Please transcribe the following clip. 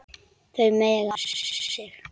Þau mega vara sig.